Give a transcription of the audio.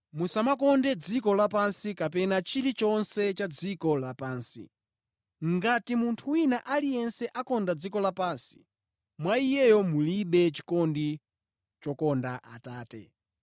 Musamakonde dziko lapansi kapena chilichonse cha dziko lapansi. Ngati munthu wina aliyense akonda dziko lapansi, mwa iyeyo mulibe chikondi chokonda Atate.